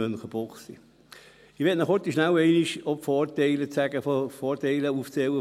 Ich möchte Ihnen rasch auch die Vorteile von Münchenbuchsee aufzählen.